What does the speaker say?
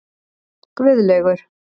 Guðlaugur